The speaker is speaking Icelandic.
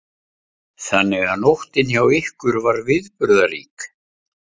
Þannig að nóttin hjá ykkur var viðburðarík?